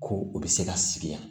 Ko u bɛ se ka sigi yan